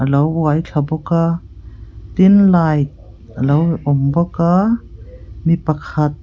lo uai thla bawk a tin light a lo awm bawk a mipakhat --